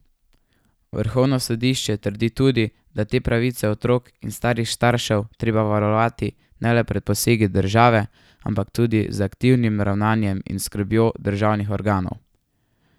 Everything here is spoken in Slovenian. Vrhovno sodišče trdi tudi, da je te pravice otrok in starih staršev treba varovati ne le pred posegi države, ampak tudi z aktivnim ravnanjem in skrbjo državnih organov.